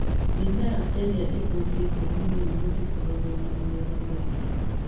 Mĩmera ĩrĩa ĩthũkĩtio nĩ mĩrimũ ndĩkoragwo na magetha maingĩ.